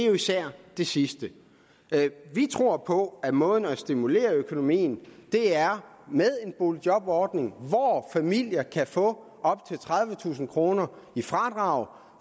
jo især det sidste vi tror på at måden at stimulere økonomien er med en boligjobordning hvor familier kan få op til tredivetusind kroner i fradrag